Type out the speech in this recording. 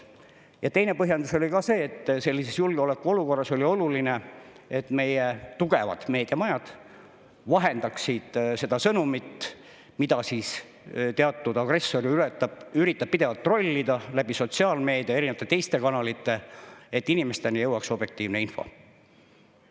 Ja teine põhjendus oli see, et sellises julgeolekuolukorras oli oluline, et meie tugevad meediamajad vahendaksid seda sõnumit, mida teatud agressor üritab pidevalt trollida sotsiaalmeedia ja teiste kanalite kaudu, et inimesteni jõuaks objektiivne info.